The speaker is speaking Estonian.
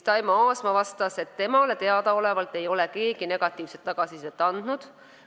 Taimo Aasma vastas, et temale teadaolevalt ei ole keegi negatiivset tagasisidet andnud.